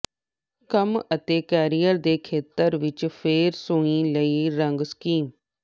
ਕੰਮ ਅਤੇ ਕੈਰੀਅਰ ਦੇ ਖੇਤਰ ਵਿਚ ਫੇਂਗ ਸ਼ੂਈ ਲਈ ਰੰਗ ਸਕੀਮ